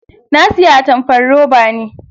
Na siya atamfar roba ne.